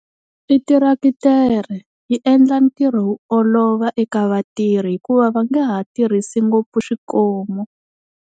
I teretere yi endla ntirho wu olova eka vatirhi hikuva va nga ha tirhisi ngopfu swikomu.